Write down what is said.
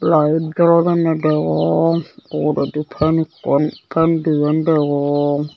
layet jolodonne degong uguredi fan ekkan fan diyan degong.